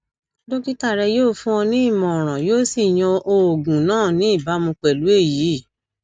dókítà rẹ yóò fún ọ ní ìmọràn yóò sì yan oògùn náà ní ìbámu pẹlú èyí